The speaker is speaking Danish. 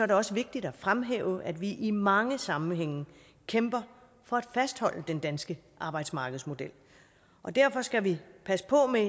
det også vigtigt at fremhæve at vi i mange sammenhænge kæmper for at fastholde den danske arbejdsmarkedsmodel derfor skal vi passe på med